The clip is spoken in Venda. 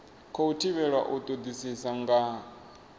khou thivhelwa u todisisa nga